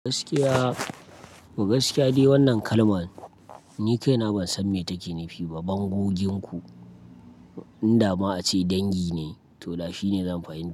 Gaskiya, gaskiya dai wannan kalman ni kaina ban san me take nufi ba. Bangogen ku in dama a ce dangi ne to dashi ne zan fahimta.